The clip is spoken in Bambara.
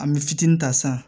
An bɛ fitinin ta san